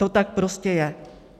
To tak prostě je.